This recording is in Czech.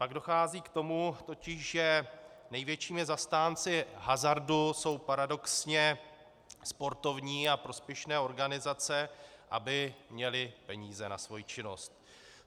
Pak dochází k tomu totiž, že největšími zastánci hazardu jsou paradoxně sportovní a prospěšné organizace, aby měly peníze na svoji činnost.